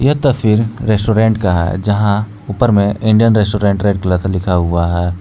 यह तस्वीर रेस्टोरेंट का है यहां ऊपर में इंडियन रेस्टोरेंट रेड कलर से लिखा हुआ है।